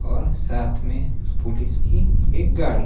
और साथ में पुलिस की एक गाड़ी--